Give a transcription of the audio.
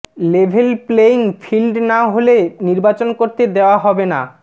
level playing field না হলে নির্বাচন করতে দেয়া হবে না